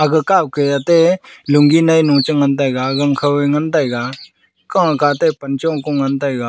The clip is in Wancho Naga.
aga kao ke ate lungi ne chu ngan taiga gang Khao ngan taiga kao kao te pan chong kong ngan taiga.